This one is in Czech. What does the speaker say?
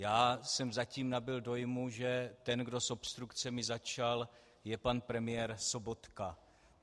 Já jsem zatím nabyl dojmu, že ten, kdo s obstrukcemi začal, je pan premiér Sobotka.